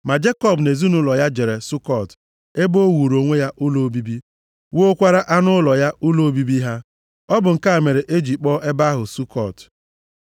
Ma Jekọb na ezinaụlọ ya jere Sukọt, ebe o wuuru onwe ya ụlọ obibi, wuokwara anụ ụlọ ya ụlọ obibi ha. Ọ bụ nke a mere e ji kpọọ ebe ahụ Sukọt.